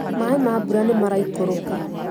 Maĩ ma mbura nĩmaraikũrũka